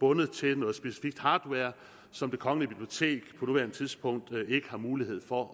bundet til noget specifik hardware som det kongelige bibliotek på nuværende tidspunkt ikke har mulighed for